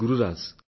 Gururaj